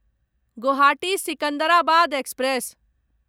Guwahati Secunderabad express